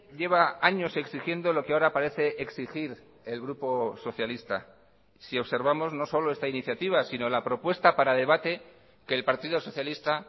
lleva años exigiendo lo que ahora parece exigir el grupo socialista si observamos no solo esta iniciativa sino la propuesta para debate que el partido socialista